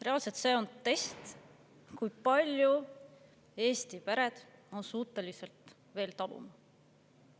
Reaalselt see on test, kui palju on Eesti pered suutelised veel taluma.